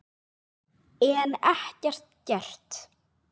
En ekkert gert.